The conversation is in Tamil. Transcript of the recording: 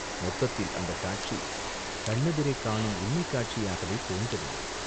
மொத்தத்தில் அந்தக் காட்சி கண்ணெதிரே காணும் உண்மைக் காட்சியாகவே தோன்றவில்லை.